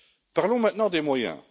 Parlons maintenant des moyens.